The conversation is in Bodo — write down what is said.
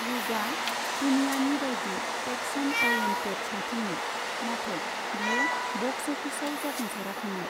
युगआ दुनियानि बाइदि एक्शन अरिएन्टेट सावथुनमोन, नाथाय बियो बक्स अफिसाव जाफुंसाराखैमोन।